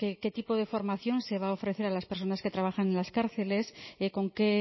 qué tipo de formación se va a ofrecer a las personas que trabajan en las cárceles con qué